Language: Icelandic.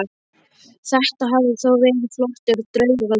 Þetta hafði þó verið flottur draugagangur.